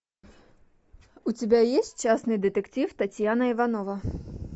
у тебя есть частный детектив татьяна иванова